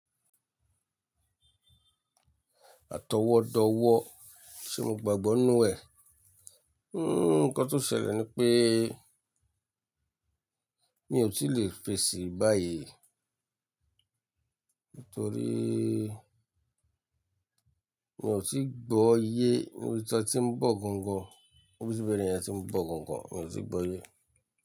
Àtọwọ́dọ̀wọ́ ṣé mo gbàgbọ́ inú ẹ̀? Nǹkan tó ṣẹlẹ̀ ni pé mi ò tí lè fèsì báyìí nítorí mi ò tí gbọ́ iye oríṣi ọtí ń bọ̀ gan gan, oríṣi ibẹ̀rẹ̀ ẹni tí ń bọ̀ gan gan, mi ò tíì gbọ́ iye.